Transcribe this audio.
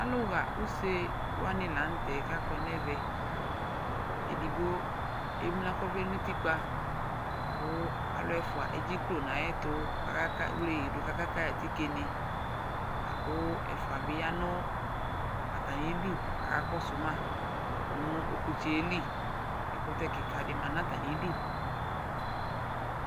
Alʋɣa use wanɩ la nʋ tɛ kʋ kakɔ nʋ ɛvɛ Edigbo emlǝ kʋ ɔvlɛ nʋ utikpa kʋ alʋ ɛfʋa edziklo nʋ ayɛtʋ kaka wle yɩ dʋ kʋ aka yɩ atikenɩ la kʋ ɛfʋa bɩ ya nʋ atamɩdu kʋ akakɔsʋ ma nʋ ɔkʋtsɛ yɛ li Ɛkʋtɛ kɩka dɩ ma nʋ atamɩdu